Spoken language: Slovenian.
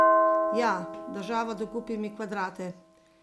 Ja, država, dokupi mi kvadrate!